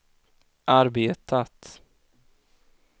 arbetat